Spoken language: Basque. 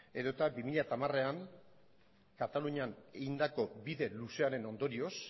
edo eta bi mila hamarean katalunian egindako bide luzearen ondorioz